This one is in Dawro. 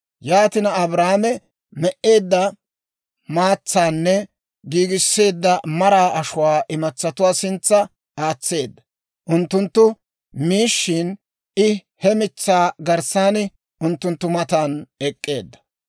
Yaatina Abrahaame me"eedda maatsaanne giigisseedda maraa ashuwaa imatsatuwaa sintsa aatseedda; unttunttu miishshin, I he mitsaa garssan unttunttu matan ek'k'eedda.